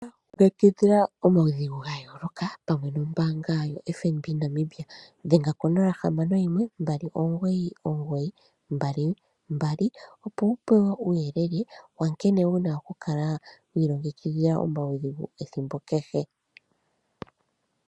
Kala wi ilongekidhila omaudhigu ga yooloka pamwe nombaanga yoFNB. Dhenga ko 061 2992222, opo wu pewe uuyele wa nkene wu na okukala wi ilongekidhila omaudhigu ethimbo kehe.